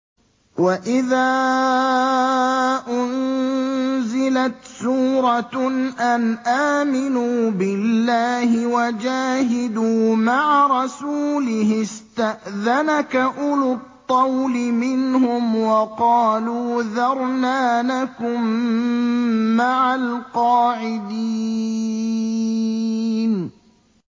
وَإِذَا أُنزِلَتْ سُورَةٌ أَنْ آمِنُوا بِاللَّهِ وَجَاهِدُوا مَعَ رَسُولِهِ اسْتَأْذَنَكَ أُولُو الطَّوْلِ مِنْهُمْ وَقَالُوا ذَرْنَا نَكُن مَّعَ الْقَاعِدِينَ